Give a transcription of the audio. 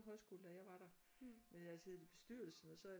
Højskole da jeg var der men jeg havde siddet i bestyrelsen og så havde jeg